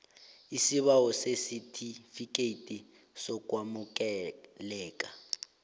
isibawo sesitifikethi sokwamukeleka